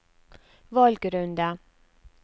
valgrunde